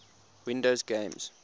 windows games